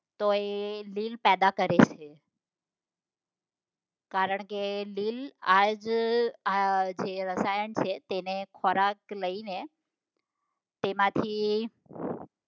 તો એ લીલ પેદા કરે છે કારણ કે લીલ તે આ જ જે આ રસાયણ છે તેને ખોરાક લઈને તેમાંથી